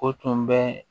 O tun bɛ